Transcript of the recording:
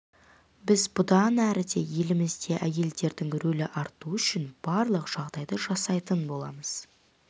біз бұдан әрі де елімізде әйелдердің рөлі артуы үшін барлық жағдайды жасайтын боламыз